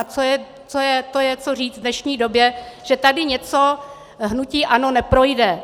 A to je co říct v dnešní době, že tady něco hnutí ANO neprojde.